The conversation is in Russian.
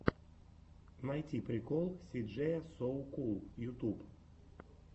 найти прикол си джея соу кул ютуб